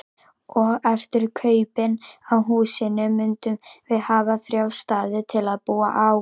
Og eftir kaupin á húsinu mundum við hafa þrjá staði til að búa á.